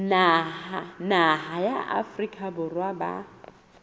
naha ya afrika borwa ba